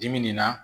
Dibi nin na